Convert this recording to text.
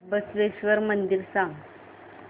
बसवेश्वर मंदिर मला सांग